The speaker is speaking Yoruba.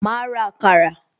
Ma ra àkàrà